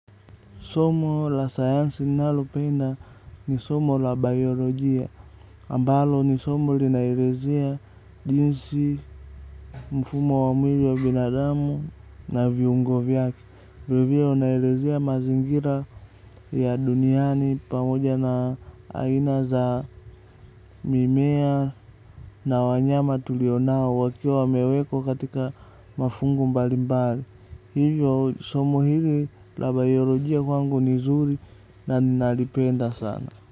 Somo la sayansi nalo penda ni somo la biolojia. Ambalo ni somo linaelezea jinsi mfumo wa mwili wa binadamu na viungo vyake. Vile vile unaelezea mazingira ya duniani pamoja na aina za mimea na wanyama tulionao wakiwa wamewekwa katika mafungu mbali mbali. Hivyo somo hili la biolojia kwangu ni zuri na ninalipenda sana.